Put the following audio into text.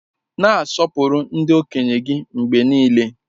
Na-asọpụrụ ndị okenye gị mgbe niile!